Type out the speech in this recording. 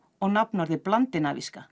og nafnorðið